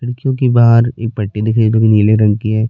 खिड़कियों के बाहर एक पट्टी दिखाई दे रही है जो नीले रंग की है।